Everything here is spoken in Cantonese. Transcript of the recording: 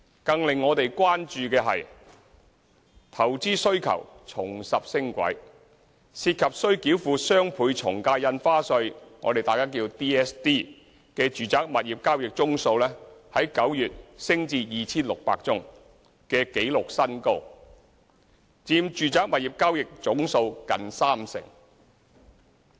更令我們關注的是，投資需求重拾升軌：涉及須繳付雙倍從價印花稅的住宅物業交易宗數，在9月升至 2,600 宗的紀錄新高，佔住宅物業交易總數近三成。